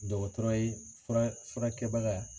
Dɔgɔtɔrɔ ye fura furakɛbaga.